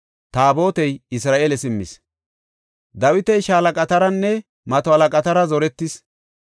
Dawiti shaalaqataranne mato halaqatara zoretis.